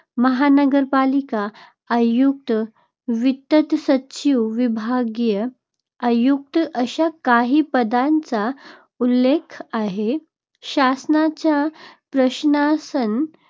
महानगरपालिका आयुक्त, वित्त सचिव, विभागीय आयुक्त अशा काही पदांचा उल्लेख आहे. शासनाच्या प्रशासन